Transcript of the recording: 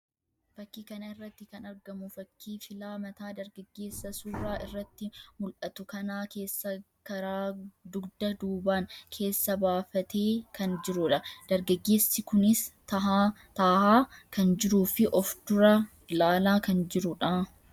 Fakkii kana irratti kan argamu fakkii filaa mataa dargaggeessa suuraa irratti mullatu kanaa keessa karaa dugda duubaan keessa baafatee kan jiruu dha. Dargaggeessi kunis tahaa kan jiruu fi of dura ilaalaa kan jiruu dha.